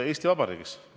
Eesti Vabariigis.